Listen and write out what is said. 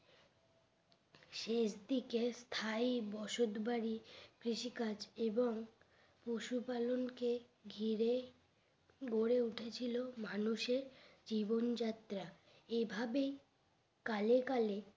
শেষ দিকের স্থায়ী বসত বাড়ি কৃষি কাজ এবং পশু পালনকে ঘিরে গড়ে উঠে ছিল মানুষের জীবন যাত্রা এভাবেই কালে কালে